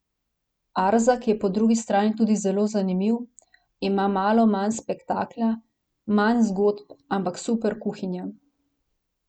Arzak je po drugi strani tudi zelo zanimiv, ima malo manj spektakla, manj zgodb, ampak super kuhinja.